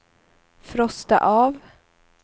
frosta av